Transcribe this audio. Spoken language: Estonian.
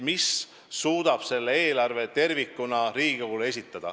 Ja just sellise eelarve tervikuna me suudame Riigikogule esitada.